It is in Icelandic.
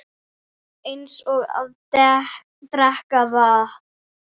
Eins og að drekka vatn.